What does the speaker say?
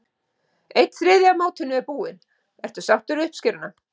Einn þriðji af mótinu búinn, ertu sáttur við uppskeruna?